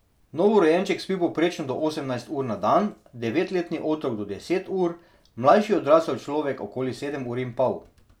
Novorojenček spi povprečno do osemnajst ur na dan, devetletni otrok do deset ur, mlajši odrasel človek okoli sedem ur in pol.